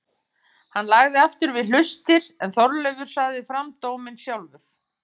Hann lagði aftur við hlustir er Þorleifur sagði fram dóminn sjálfan